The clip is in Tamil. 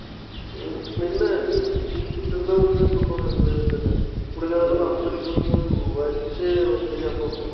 என்ன இதுன்னு குடிச்சுக்கிட்டுதான் உண்மையை சொல்றோம் எது இதுன்னு